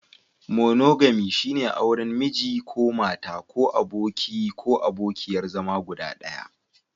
Monogami, shine auren Miji/Mata ko abokin/abokiyar zama guda ɗaya.